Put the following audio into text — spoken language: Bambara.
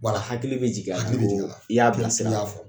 Bar'a hakili bɛ jigi a la ko, hakili be jigi,i y'a bilasira y'a fɔ